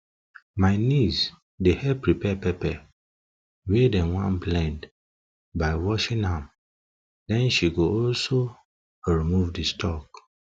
my niece dey help prepare pepper wey dem wan blend by washing am den she go also she go also remove di stalk